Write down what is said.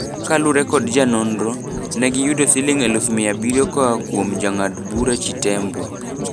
Kalure kod janonro, negiyudo siling eluf mia abirio koa kuom jangad bura Chitembwe.